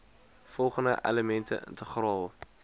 volgende elemente integraal